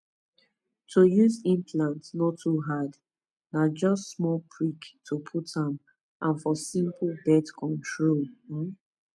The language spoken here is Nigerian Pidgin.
to use implant no too hard na just small prick to put am and for simple birth control um